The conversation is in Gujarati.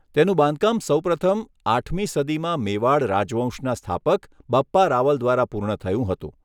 તેનું બાંધકામ સૌપ્રથમ આઠમી સદીમાં મેવાડ રાજવંશના સ્થાપક બપ્પા રાવલ દ્વારા પૂર્ણ થયું હતું.